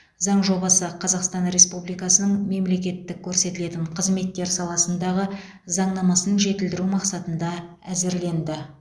заң жобасы қазақстан республикасының мемлекеттік көрсетілетін қызметтер саласындағы заңнамасын жетілдіру мақсатында әзірленді